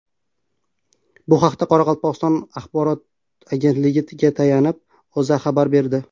Bu haqda, Qoraqalpog‘iston axborot agentligiga tayanib, O‘zA xabar berdi .